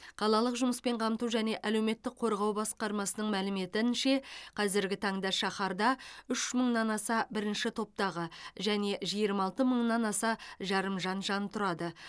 қалалық жұмыспен қамту және әлеуметтік қорғау басқармасының мәліметінше қазіргі таңда шаһарда үш мыңнан аса бірінші топтағы және жиырма алты мыңнан аса жарымжан жан тұрады